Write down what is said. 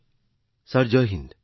মহোদয় জয় হিন্দ